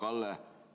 Hea Kalle!